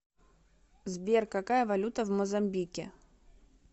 сбер какая валюта в мозамбике